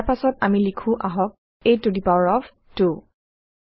ইয়াৰ পাছত আমি লিখো আহক a to the power of 2